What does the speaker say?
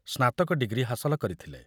ସ୍ନାତକ ଡିଗ୍ରୀ ହାସଲ କରିଥିଲେ।